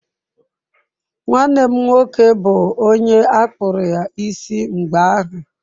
Nwanne m nwoke bụ onye akpụru ya isi mgbe ahụ.